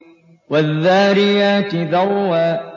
وَالذَّارِيَاتِ ذَرْوًا